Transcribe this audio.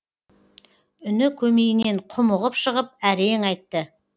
үні көмейінен құмығып шығып әрең айтты